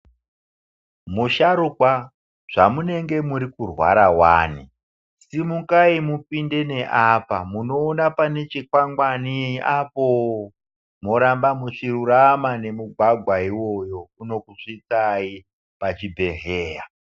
Musharukwa zvamunenge murikurwara wani .Simukai mupinde neapa munoona pane chikwangwani apoooo moramba muchirurama nemugwagwa iwoyo unokusvitsai pachibhedhlera.